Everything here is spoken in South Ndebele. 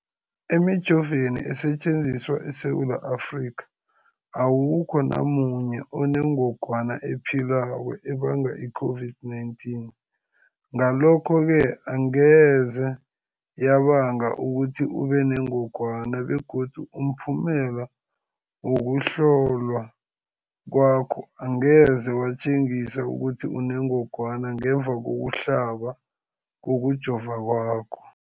Emijoveni esetjenziswa eSewula Afrika, awukho namunye onengog wana ephilako ebanga i-COVID-19. Ngalokho-ke angeze yabanga ukuthi ubenengogwana begodu umphumela wokuhlolwan kwakho angeze watjengisa ukuthi unengogwana ngemva kokuhlaba, kokujova kwakho.